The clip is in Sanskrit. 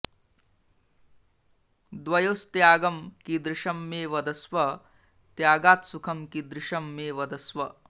द्वयोस्त्यागं कीदृशं मे वदस्व त्यागात्सुखं कीदृशं मे वदस्व